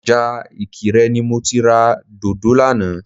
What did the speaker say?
Ọjà ìkirè ni mo ti ra dòdò lánàá